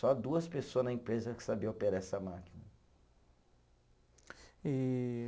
Só duas pessoa na empresa que sabia operar essa máquina. E